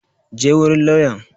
Je wurin lauyan!